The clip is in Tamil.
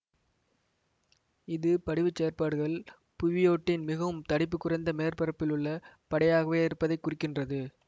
இது படிவுச் செயற்பாடுகள் புவியோட்டின் மிகவும் தடிப்புக் குறைந்த மேற்பரப்பிலுள்ள படையாகவே இருப்பதை குறிக்கின்றது